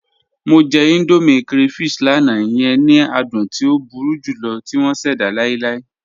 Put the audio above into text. Mọ jẹ̀ Indomie crayfish lánà, iyẹn ni àdùn tí o búru julọ̀ tì wọn ṣẹda láìláì.